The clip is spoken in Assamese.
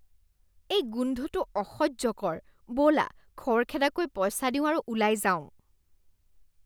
এই গোন্ধটো অসহ্যকৰ। ব'লা, খৰখেদাকৈ পইচা দিওঁ আৰু ওলাই যাওঁ।